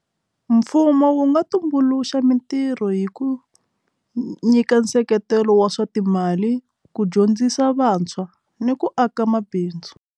Mfumo wu nga tumbuluxa mitirho hi ku nyika nseketelo wa swa timali ku dyondzisa vantshwa ni ku aka mabindzu.